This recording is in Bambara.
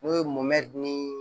N'o ye mɔmɛdi nii